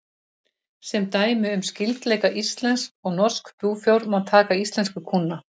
Sem dæmi um skyldleika íslensks og norsks búfjár má taka íslensku kúna.